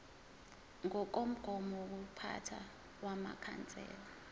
ngokomgomo wokuziphatha wamakhansela